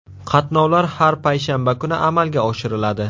Qatnovlar har payshanba kuni amalga oshiriladi.